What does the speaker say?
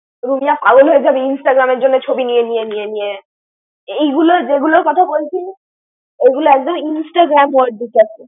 রুমিয়া পাগল হয়ে যাবি Instagram জন্য ছবি নিয়ে নিয়ে নিয়ে নিয়ে। এই গুল, যে গুল কথা বলছি। এ গুলো আকমদ Instagram আছে।